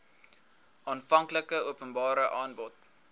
aanvanklike openbare aanbod